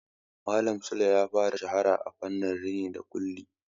Malam Sule ya fara shahara a fannin rini da ƙulli.